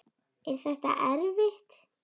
Er þetta erfitt?